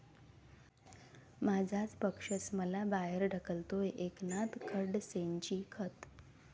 माझा पक्षच मला बाहेर ढकलतोय, एकनाथ खडसेंची खंत